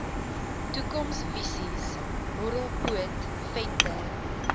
toekomsvisies horrelpoot venter